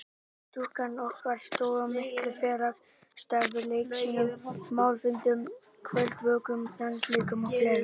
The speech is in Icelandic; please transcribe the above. Stúkan okkar stóð að miklu félagsstarfi: Leiksýningum, málfundum, kvöldvökum, dansleikjum og fleira.